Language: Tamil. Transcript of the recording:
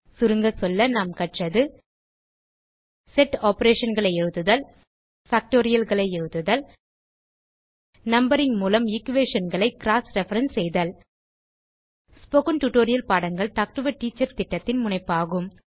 சுருங்க சொல்ல நாம் கற்றது செட் operationகளை எழுதுதல் பாக்டோரியல்ஸ் எழுதுதல் மற்றும் நம்பரிங் மூலம் equationகளை க்ராஸ் ரெஃபரன்ஸ் செய்தல் ஸ்போகன் டுடோரியல் பாடங்கள் டாக் டு எ டீச்சர் திட்டத்தின் முனைப்பாகும்